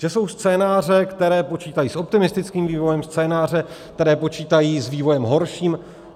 Že jsou scénáře, které počítají s optimistickým vývojem, scénáře, které počítají s vývojem horším.